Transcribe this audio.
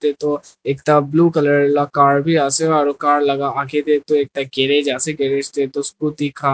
taetoh ekta blue colour la car biase aro car la akae tae toh ekta garage ase garage tae toh scooty khan.